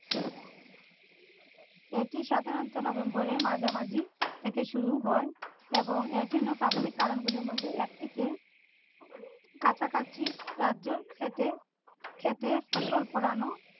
এটি সাধারণত november এর মাঝামাঝি থেকে শুরু হয় এবং এর জন্য প্রাথমিক কারণগুলির মধ্যে থেকে একটিকে কাছাকাছি রাজ্যের ক্ষেতে ক্ষেতে ফসল ফলানো